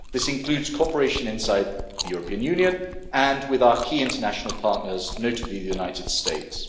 This includes cooperation inside the European Union and with our key international partners, notably the United States.